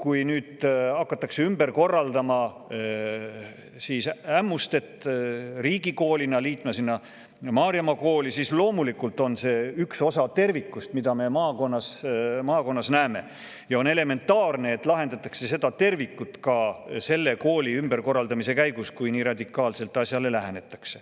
Kui nüüd Ämmustet hakatakse ümber korraldama, riigikoolina teda selle Maarjamaa kooliga liitma, siis kuna see on üks osa tervikust selles maakonnas, siis on elementaarne, et asjale nii radikaalselt lähenedes lahendataks Ämmuste ümberkorraldamise käigus ka seda tervikut.